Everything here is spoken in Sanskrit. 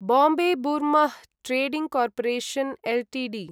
Bombay Burmah trading corporation Ltd